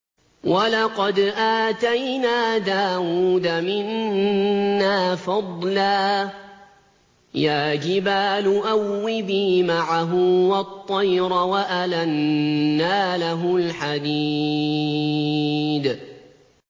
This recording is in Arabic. ۞ وَلَقَدْ آتَيْنَا دَاوُودَ مِنَّا فَضْلًا ۖ يَا جِبَالُ أَوِّبِي مَعَهُ وَالطَّيْرَ ۖ وَأَلَنَّا لَهُ الْحَدِيدَ